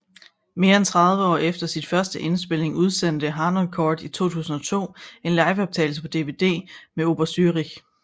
Mere end tredive år efter sin første indspilning udsendte Harnoncourt i 2002 en liveoptagelse på DVD med Oper Zürich